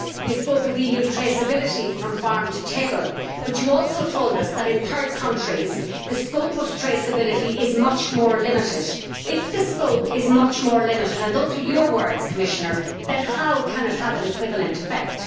She spoke of EU traceability from farm to table, but she also told us that in third countries, the scope of traceability is much more limited. If the scope is much more limited and those are the Commissioner's words then how can it have an equivalent effect?